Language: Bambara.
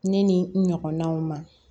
Ne ni n ɲɔgɔnnaw ma